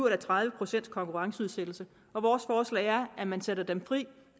eller tredive procents konkurrenceudsættelse og vores forslag er at man sætter dem fri og